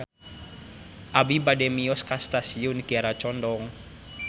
Abi bade mios ka Stasiun Kiara Condong